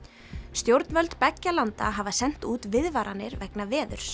stjórnvöld beggja landa hafa sent út viðvaranir vegna veðurs